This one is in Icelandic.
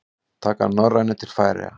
Taka Norrænu til Færeyja?